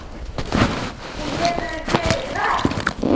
Hún hefur verið hress?